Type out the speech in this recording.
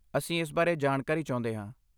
ਅਸੀਂ ਇਸ ਬਾਰੇ ਜਾਣਕਾਰੀ ਚਾਹੁੰਦੇ ਹਾਂ।